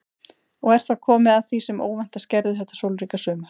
Og er þá komið að því sem óvæntast gerðist þetta sólríka sumar.